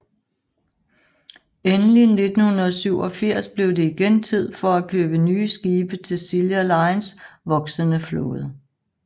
Endelig 1987 blev det igen tid for at købe nye skibe til Silja Lines voksende flåde